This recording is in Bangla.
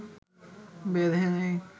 বেঁধে নেয়